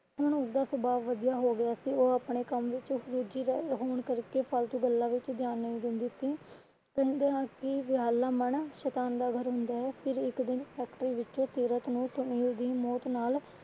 ਹੁਣ ਉਸਦਾ ਸੁਭਾਵ ਵਧਿਆ ਹੋ ਗਿਆ ਸੀ। ਉਹ ਆਪਣੇ ਕੰਮ ਵਿੱਚ ਰੁੱਝੀ ਹੋਣ ਕਰ ਕੇ ਫਾਲਤੂ ਗੱਲਾਂ ਵਿੱਚ ਧਿਆਨ ਨਹੀਂ ਦਿੰਦੀ ਸੀ। ਕਹਿੰਦੇ ਹਨ ਹੈ ਕਿ ਵੇਹਲਾ ਮਨ ਸ਼ੈਤਾਨ ਦਾ ਘਰ ਹੁੰਦਾ ਹੈ ਫਿਰ ਇੱਕ ਦਿਨ ਫੈਕਟਰੀ ਵਿਚੋਂ ਸੀਰਤ ਨੂੰ ਸੁਨੀਲ ਦੀ ਮੌਤ ਨਾਲ